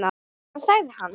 Hvað sagði hann?